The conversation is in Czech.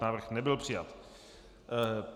Návrh nebyl přijat.